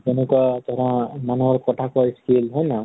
যেনেকুৱা ধৰা মানুহৰ কথা কোৱাঁ skill, হয় নহয় ?